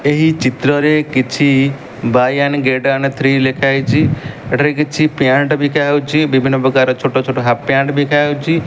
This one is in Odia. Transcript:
ଏହି ଚିତ୍ରରେ କିଛି buy one get one three ଲେଖାହେଇଛି ଏଠାରେ କିଛି ପ୍ୟାଣ୍ଟ ବିକାହୋଉଚି ବିଭିନ୍ନ ପ୍ରକାର ଛୋଟ ଛୋଟ ହାଫ୍ ପ୍ୟାଣ୍ଟ ବିକାହୋଉଚି।